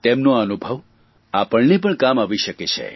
તેમનો આ અનુભવ આપને પણ કામ આવી શકે છે